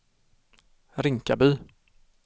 Rinkaby